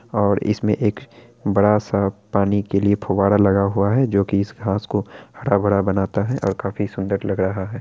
और इसमें एक बड़ा-सा पानी के लिए फुवारा लगा हुआ है जोकी इस घास को हरा-भरा बनाता है और काफी सुंदर लग रहा है।